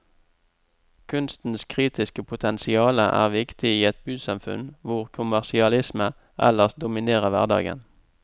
Kunstens kritiske potensiale er viktig i et bysamfunn hvor kommersialisme ellers dominerer hverdagen.